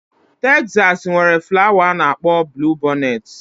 Tezasi nwere flawa a na-akpọ bluwibọnet